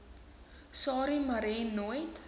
sarie marais nooit